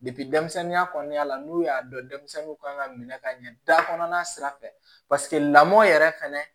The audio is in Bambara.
denmisɛnninya kɔnɔna la n'u y'a dɔn denmisɛnninw kan ka minɛ ka ɲɛ da kɔnɔna sira fɛ mɔn yɛrɛ fɛnɛ